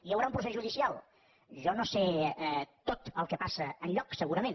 hi haurà un procés judicial jo no sé tot el que passa enlloc segurament